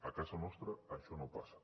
a casa nostra això no passa